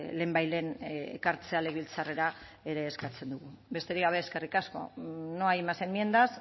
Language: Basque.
lehenbailehen ekartzea legebiltzarrera ere eskatzen dugu besterik gabe eskerrik asko no hay más enmiendas